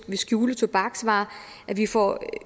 at skjule tobaksvarerne at vi får